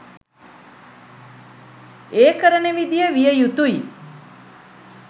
ඒ කරන විදිය විය යුතුයි.